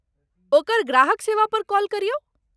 ओकर ग्राहक सेवा पर कॉल करियौ।